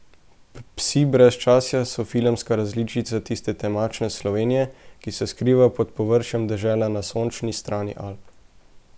Psi brezčasja so filmska različica tiste temačne Slovenije, ki se skriva pod površjem dežele na sončni strani Alp.